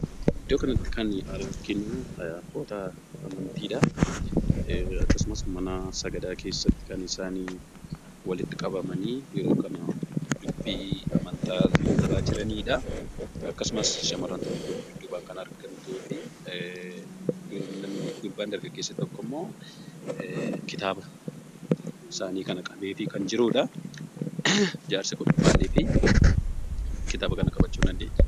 Iddoo kanatti kan arginu abboota amantiidha. Akkasumas mana sagadaa keessatti kan isaan walitti qabamanii yeroo kana dubbii amanta lallabaa jiranidha. Akkasumaas shamarran tokko dudduubaan kan argamtuufi gurbaan dargaggessi tokko immoo kitaabaa isaani kana qabeefii kan jirudha. Jarsii kun maaliif kitaaba kana qabachuu hin dandeenye?